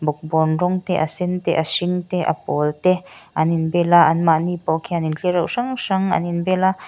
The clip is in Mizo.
bawn rawng te a sen te a hring te a pawl te an inbel a an mahni pawh khian tlereuh hrang hrang an inbel a.